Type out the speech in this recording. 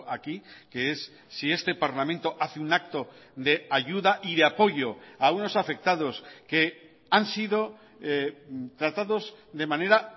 aquí que es si este parlamento hace un acto de ayuda y de apoyo a unos afectados que han sido tratados de manera